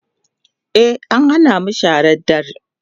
e an Hana mu shara da dadre